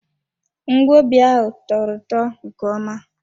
Ngwobi ahụ tọrọ ụtọ nke ọma.